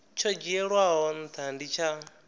tsho dzhielwaho ntha ndi tsha